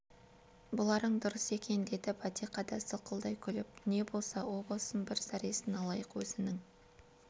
бұларың дұрыс екен деді бәтиқа да сылқылдай күліп не боса о босын бір зәресін алайық өзінің